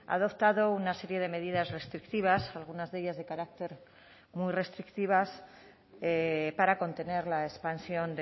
ha adoptado una serie de medidas restrictivas algunas de ellas de carácter muy restrictivas para contener la expansión